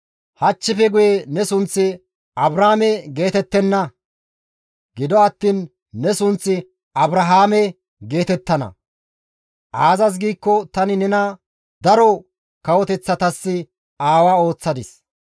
Hachchife guye ne sunththi Abraame geetettenna; gido attiin ne sunththi Abrahaame geetettana; aazas giikko tani nena daro kawoteththatas aawa ooththadis.